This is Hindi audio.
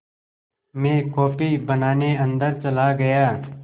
मैं कॉफ़ी बनाने अन्दर चला गया